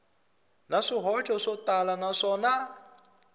na swihoxo swo tala naswona